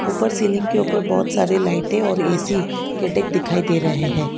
ऊपर सीलिंग के ऊपर बहोत सारे लाइटें और ए_सी के डक्ट दिखाई दे रहे है।